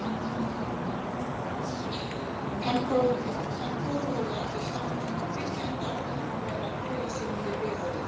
Þann kofa höfðu allir sameinast um að byggja, enda átti hann að vera félagsheimili byggðarinnar.